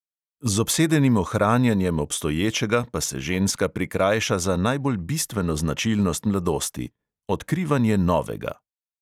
Z obsedenim ohranjanjem obstoječega pa se ženska prikrajša za najbolj bistveno značilnost mladosti: odkrivanje novega.